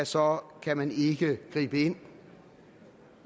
så kan man ikke gribe ind